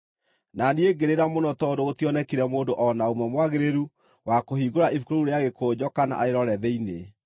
Na niĩ ngĩrĩra mũno tondũ gũtionekire mũndũ o na ũmwe mwagĩrĩru wa kũhingũra ibuku rĩu rĩa gĩkũnjo kana arĩrore thĩinĩ.